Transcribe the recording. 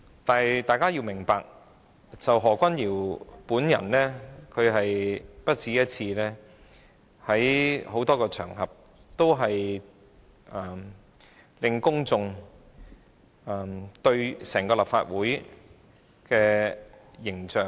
但是，大家要明白，何君堯議員已不止一次在多個場合，破壞公眾對整個立法會的形象。